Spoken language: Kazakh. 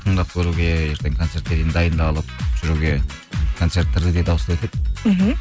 тыңдап көруге ертең концертке дейін дайындалып жүруге концерттерге де дауыс бердік мхм